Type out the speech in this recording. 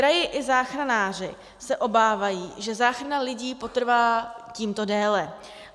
Kraj i záchranáři se obávají, že záchrana lidí potrvá tímto déle.